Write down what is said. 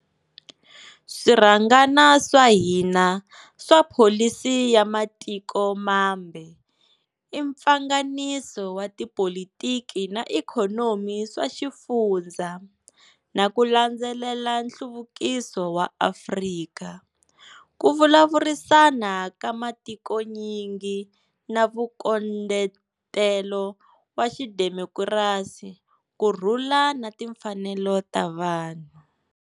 Swirhangana swa hina swa pholisi ya matiko mambe i mpfanganiso wa tipolitiki na ikhonomi swa xifundza, na ku landzelela nhluvukiso wa Afrika, ku vulavurisana ka matikonyingi na vunkondletelo wa xidemokirasi, kurhula na timfanelo ta vanhu.